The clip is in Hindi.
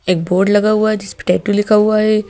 एक बोर्ड लगा हुआ है जिस पे टैटू लिखा हुआ है।